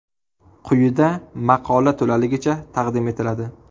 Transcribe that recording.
Quyida maqola to‘laligicha taqdim etiladi.